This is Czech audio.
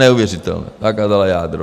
Neuvěřitelné - zakázala jádro.